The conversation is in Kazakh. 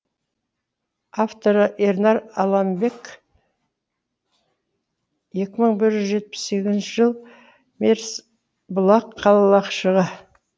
авторы ернар аламбек екі мың бір жүз жетпіс сегізінші жыл мерсбұлақ қалашығы